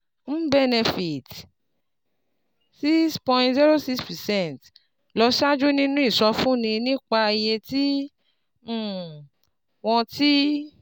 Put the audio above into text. MBENEFIT six point zero six percent lọ ṣáájú nínú ìsọfúnni nípa iye tí um wọ́n ti